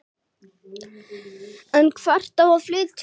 En hvert á að flytja?